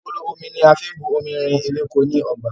Agolo Omi ni a fi bu omi rin eweko ni ọgba.